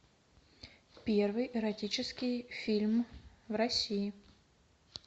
первый эротический фильм в россии